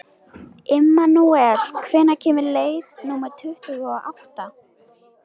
Immanúel, hvenær kemur leið númer tuttugu og átta?